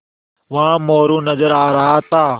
वहाँ मोरू नज़र आ रहा था